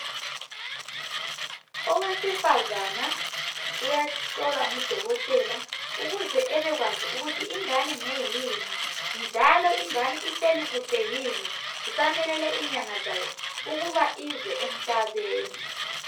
Owesifazana uyahlolwa ngudokotela ukuze ebekwazi ukuthi ingane ngeyini, njalo ingane ihleli kuhle yini isamelele inyanga zayo ukuze ize emhlabeni.